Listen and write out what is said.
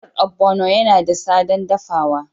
Miyar ogbono yana da sadan dafawa